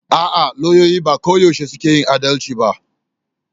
A'a, lauyoyi ba koyaushe suke yin adalci ba.